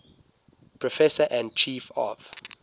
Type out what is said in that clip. professor and chief of